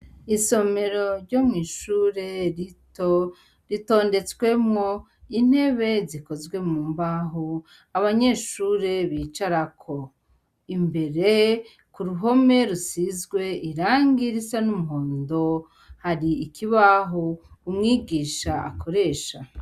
Isomero ryo mw'ishure rito ritondetswemwo intebe zikozwe mu mbaho abanyeshure bicarako. Imbere ku ruhome rusizwe irangi risa n'umuhondo, hari ikibaho umwigisha akoresha.